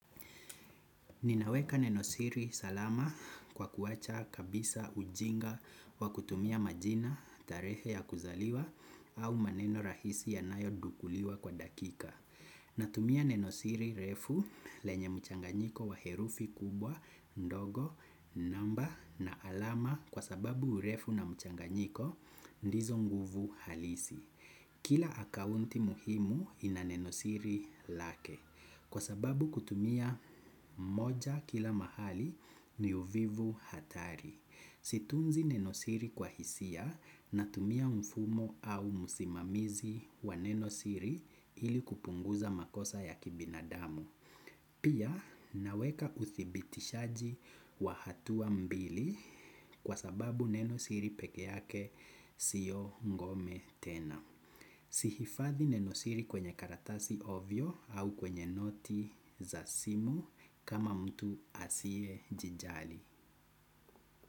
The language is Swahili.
Ninaweka nenosiri salama kwa kuwacha kabisa ujinga wa kutumia majina, tarehe ya kuzaliwa au maneno rahisi yanayodukuliwa kwa dakika. Natumia nenosiri refu lenye mchanganyiko wa herufi kubwa, ndogo, namba na alama kwa sababu urefu na mchanganyiko ndizo nguvu halisi. Kila akaunti muhimu ina nenosiri lake kwa sababu kutumia moja kila mahali ni uvivu hatari. Situnzi nenosiri kwa hisia natumia mfumo au musimamizi wa nenosiri ili kupunguza makosa ya kibinadamu. Pia naweka uthibitishaji wa hatua mbili kwa sababu nenosiri peke yake sio ngome tena. Sihifadhi nenosiri kwenye karatasi ovyo au kwenye noti za simu kama mtu asie jijali.